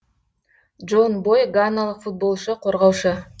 джон бой ганалық футболшы қорғаушы